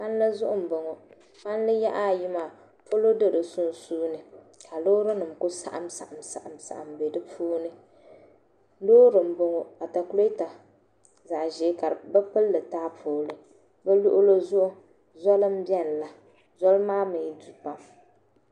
Palli zuɣu n bɔŋɔ palli yaɣa ayi maa polo do di sunsuuni ka loori nim ku saɣam saɣam bɛ di puuni loori n bɔŋɔ atakulɛta zaɣ ʒiɛ ka bi pilli taapooli bi luɣuli zuɣu zoli n biɛni la zoli maa mii du pam